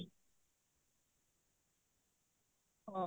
ହଁ